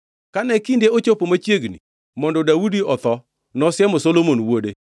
Kane kinde ochopo machiegni mondo Daudi otho, nosiemo Solomon wuode.